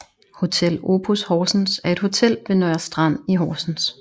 Hotel Opus Horsens er et hotel ved Nørrestrand i Horsens